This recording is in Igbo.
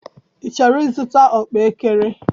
I chọrọ ịzụta ọkpaekere?